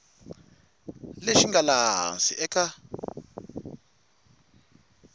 lexi nga laha hansi eka